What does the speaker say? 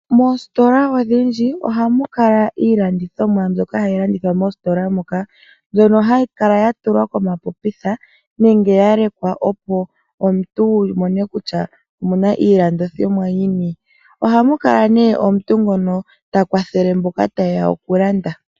Mositola odhindji ohamu kala iilandithomwa mbyoka hayi landithwa moositola moka mbyono hayi kala ya tulwa komapopitha nenge hayi kala ya lekwa opo omuntu wu mone kutya omuna iilandithomwa yini ohamu kala nee omuntu ngono ta kwathele mboka tayeya okulanda.